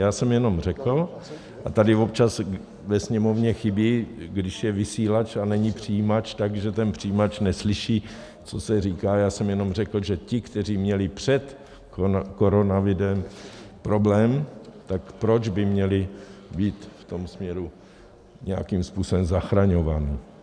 Já jsem jenom řekl - a tady občas ve Sněmovně chybí, když je vysílač a není přijímač, takže ten přijímač neslyší, co se říká - já jsem jenom řekl, že ti, kteří měli před koronavirem problém, tak proč by měli být v tom směru nějakým způsobem zachraňováni.